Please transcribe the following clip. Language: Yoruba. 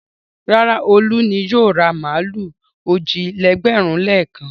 Rárá, Olú ni yóò ra màlúù òjì-lẹ́gbẹ̀rún-lékan.